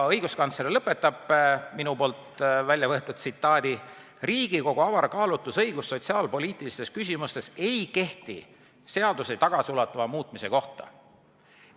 Õiguskantsler lõpetab minu väljavõetud tsitaadi: "Riigikogu avar kaalutlusõigus sotsiaalpoliitilistes küsimustes ei kehti seaduse tagasiulatuva muutmise kohta.